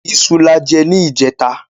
Iṣu lajẹ ní ìjẹta.